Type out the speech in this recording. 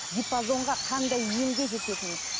диапазонға қандай емге жететіні